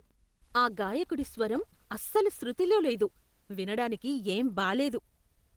ఆ గాయకుడి స్వరం అస్సలు శృతిలో లేదు. వినడానికి ఏం బాలేదు.